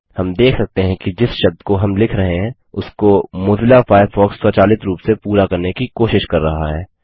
हम देख सकते हैं कि जिस शब्द को हम लिख रहें हैं उसको मोज़िला फ़ायरफ़ॉक्स स्वचालित रूप से पूरा करने की कोशिश कर रहा है